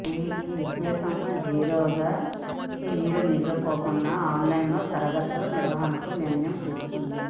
ఈ విద్యా సంవత్సరం జీరో ఇయర్గా మిగిలిపోకుండా ఆన్లైన్ తరగతుల నిర్వహణకు నిర్ణయం తీసుకుంది